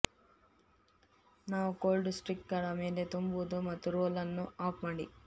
ನಾವು ಕೋಲ್ಡ್ ಸ್ಟಿಕ್ಗಳ ಮೇಲೆ ತುಂಬುವುದು ಮತ್ತು ರೋಲ್ ಅನ್ನು ಆಫ್ ಮಾಡಿ